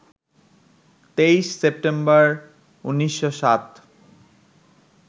২৩ September, ১৯০৭